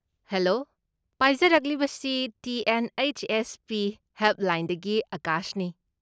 Hello! ꯄꯥꯏꯖꯔꯛꯂꯤꯕꯁꯤ T. N. H. S. P. ꯍꯦꯜꯞꯂꯥꯏꯟꯗꯒꯤ ꯑꯥꯀꯥꯁꯅꯤ ꯫